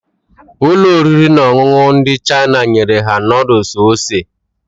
Ụlọ oriri na ọṅụṅụ ndị China nyere ha noodles ose